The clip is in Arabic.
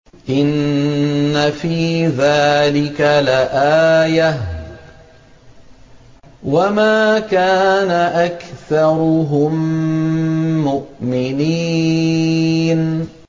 إِنَّ فِي ذَٰلِكَ لَآيَةً ۖ وَمَا كَانَ أَكْثَرُهُم مُّؤْمِنِينَ